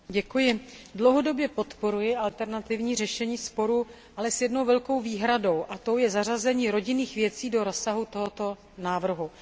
Paní předsedající, dlouhodobě podporuji alternativní řešení sporů, ale s jednou velkou výhradou, a tou je zařazení rodinných věcí do rozsahu tohoto návrhu.